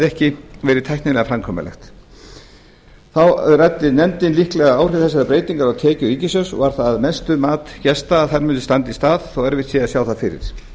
ekki verið tæknilega framkvæmanlegt þá ræddi nefndin líkleg áhrif þessarar breytingar á tekjur ríkissjóðs og var það mat gesta að þær mundu standa í stað þótt erfitt væri að sjá það fyrir